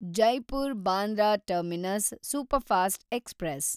Jaipur Bandra terminus superfast express